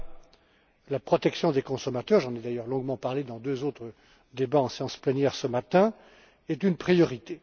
20. La protection des consommateurs j'en ai d'ailleurs longuement parlé dans deux autres débats, en séance plénière, ce matin est une priorité.